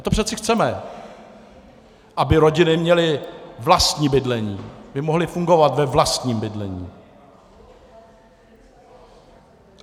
A to přece chceme, aby rodiny měly vlastní bydlení, aby mohly fungovat ve vlastním bydlení.